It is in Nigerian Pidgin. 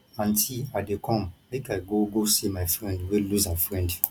aunty i dey come make i go go see my friend wey lose her husband